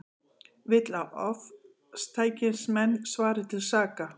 Vill að ofstækismenn svari til saka